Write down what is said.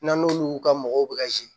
N'an n'olu ka mɔgɔw bɛ ka